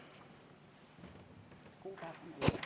Aitäh!